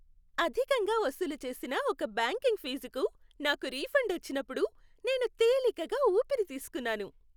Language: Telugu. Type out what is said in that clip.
అధికంగా వసూలు చేసిన ఒక బ్యాంకింగ్ ఫీజుకు నాకు రిఫండ్ వచ్చినప్పుడు నేను తేలికగా ఊపిరి తీస్కున్నాను.